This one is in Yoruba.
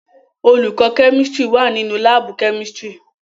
Olùkọ́ chemistry wà nínu láàbù chemistry.